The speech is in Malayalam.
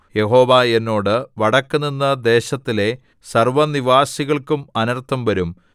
യഹോവ എന്നോട് വടക്കുനിന്ന് ദേശത്തിലെ സർവ്വനിവാസികൾക്കും അനർത്ഥം വരും